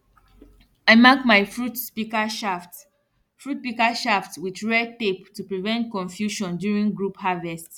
i mark my fruit pika shaft fruit pika shaft with red tape to prevent confusion duirng group harvest